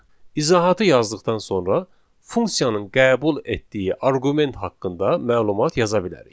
İzahatı yazdıqdan sonra funksiyanın qəbul etdiyi arqument haqqında məlumat yaza bilərik.